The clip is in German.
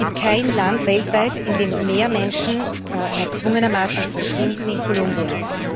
Es gibt kein Land weltweit, in dem mehr Menschen erzwungenermaßen verschwinden als in Kolumbien.